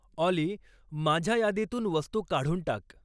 ऑली माझ्या यादीतून वस्तू काढून टाक